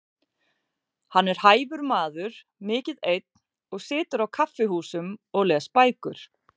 Hann er hæfur maður, mikið einn og situr á kaffihúsum og les bækur.